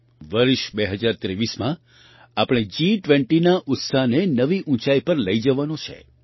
વર્ષ 2023માં આપણે જી20ના ઉત્સાહને નવી ઊંચાઈ પર લઈ જવાનો છે